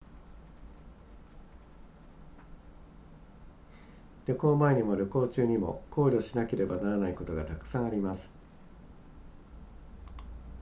旅行前にも旅行中にも考慮しなければならないことがたくさんあります